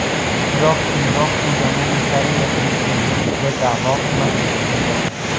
Biroq keyinroq u Janubiy Koreya prezidentligiga da’vo qilmasligini bildirdi .